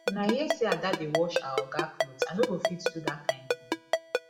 una hear say ada dey wash our oga cloth i no go fit do dat kin thing